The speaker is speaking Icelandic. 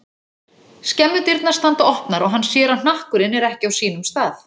Skemmudyrnar standa opnar og hann sér að hnakkurinn er ekki á sínum stað.